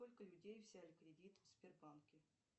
сколько людей взяли кредит в сбербанке